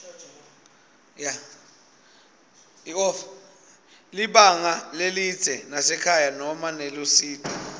libanga lelidze nasekhaya noma nelusito